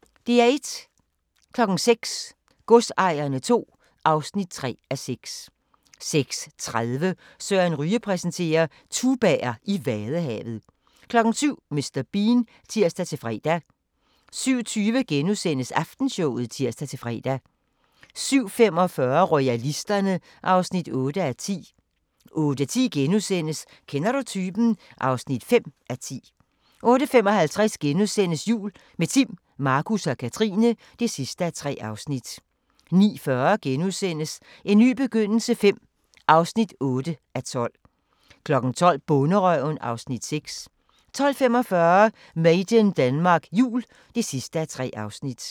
06:00: Godsejerne II (3:6) 06:30: Søren Ryge præsenterer: Tubaer i Vadehavet 07:00: Mr. Bean (tir-fre) 07:20: Aftenshowet *(tir-fre) 07:45: Royalisterne (8:10) 08:10: Kender du typen? (5:10)* 08:55: Jul – med Timm, Markus og Katrine (3:3)* 09:40: En ny begyndelse V (8:12)* 12:00: Bonderøven (Afs. 6) 12:45: Made in Denmark Jul (3:3)